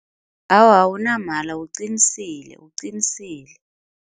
Awa awunamala uqinisile, uqinisile.